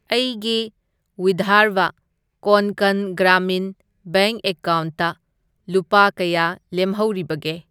ꯑꯩꯒꯤ ꯋꯤꯙꯔꯚ ꯀꯣꯟꯀꯟ ꯒ꯭ꯔꯥꯃꯤꯟ ꯕꯦꯡꯛ ꯑꯦꯀꯥꯎꯟꯠꯇ ꯂꯨꯄꯥ ꯀꯌꯥ ꯂꯦꯝꯍꯧꯔꯤꯕꯒꯦ?